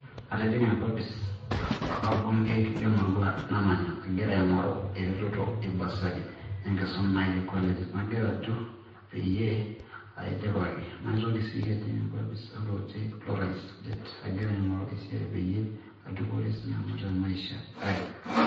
Atijing'a enkopis orbungei le emurua namanya agira aing'oru eretoto ebasari enkisuma ai e college, nagira ajo peyie aidipaki. Naitoki sii ajing' enkopis oloti lorais det agira aing'oru esiai peyie adupore sinanu te maisha ai.